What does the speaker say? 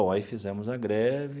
Aí fizemos a greve.